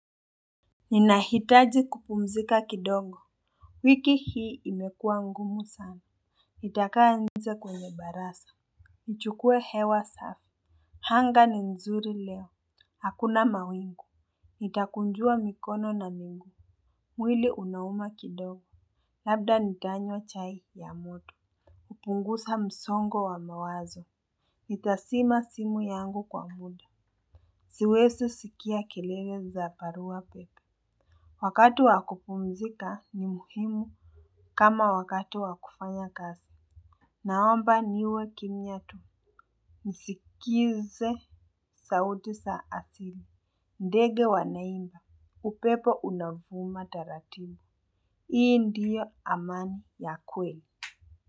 Ninahitaji kupumzika kidogo. Wiki hii imekua ngumu sana. Nitakaa nje kwenye baraza. Nichukue hewa safi. Anga ni nzuri leo. Hakuna mawingu. Nitakunjua mikono na miguu. Mwili unauma kidogo. Labda nitanywa chai ya moto kupunguza msongo wa mawazo. Nitazima simu yangu kwa muda. Siwezi sikia kilele za barua pepe. Wakati wakupumzika ni muhimu kama wakati wakufanya kazi. Naomba niwe kimya tu nisikilize sauti za asili. Ndege wanaimba, upepo unavuma taratibu. Hii ndiyo amani ya kweli.